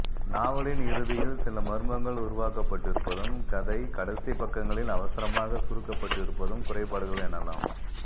நாவலின் இறுதியில் சில மர்மங்கள் உருவாக்கப்பட்டிருப்பதும் கதை கடைசிப்பக்கங்களில் அவசரமாகச் சுருக்கப்பட்டிருப்பதும் குறைபாடுகள் எனலாம்